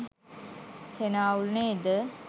හෙන අවුල් නේද?